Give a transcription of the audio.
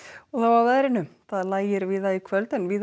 og þá að veðri það lægir víða í kvöld en víða